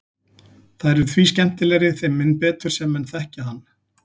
Þær eru því skemmtilegri þeim mun betur sem menn þekkja hann.